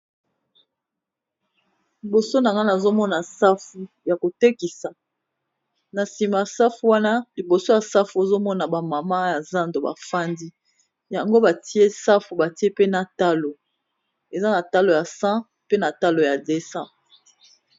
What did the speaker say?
Liboso na nga nazo mona safu ya ko tekisa, na sima safu wana, liboso ya safu ozo ba mamans ya zando ba fandi , yango ba tié safu ba tié pe na talo.. Eza talo ya 100, eza pe na talo ya 200 .